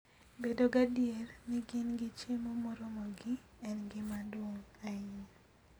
Bedo gadier ni gin gi chiemo moromogi en gima duong' ahinya.